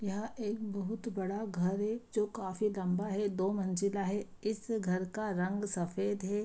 यह एक बहुत बड़ा घर है जो काफ़ी लम्बा है दो-मंजिला है इस घर का रंग सफ़ेद है।